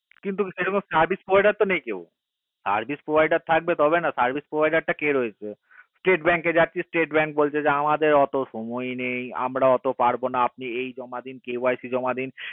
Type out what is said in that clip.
কিন্তু সেই রকম service provider তো নেই কেও service provider থাকবে তবে না service provider টা কে রয়েছে state bank এ যাচ্ছি state bank বলছে আমাদের সময়ই নেই আমরা অতো পারবোনা আপনি এই জমা দেন KYC জমা দেন